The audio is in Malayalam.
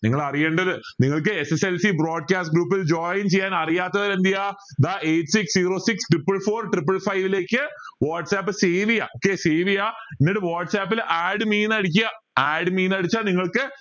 നിങ്ങൾ അറിയണ്ടത് നിങ്ങൾക്ക് SSLC broadcast gorup ൽ join ചെയ്യാൻ അറിയാത്തവർ എന്ത് ചെയ്യുക ദാ eight six zero six triple four triple five ലേക്ക് whatsapp save ചെയുക okay save ചെയ എന്നിട്ട് whatsapp ൽ add me അടിക്കുക add me ന്ന് അടിച്ച നിങ്ങക്ക്